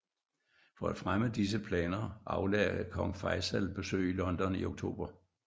For at fremme disse planer aflagde Kong Faisal besøg i London i Oktober